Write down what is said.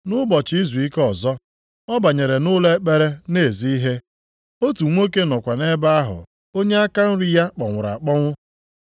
Nʼụbọchị izuike ọzọ, ọ banyere nʼụlọ ekpere na-ezi ihe. Otu nwoke nọkwa nʼebe ahụ onye aka nri ya kpọnwụrụ akpọnwụ.